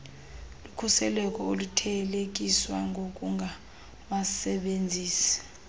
lukhuseleko oluthelekiswa nokungawasebenzisi